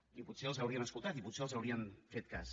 i potser els haurien escoltat i potser els haurien fet cas